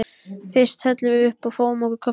Fyrst hellum við uppá og fáum okkur kaffitár.